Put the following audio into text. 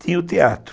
Tinha o teatro.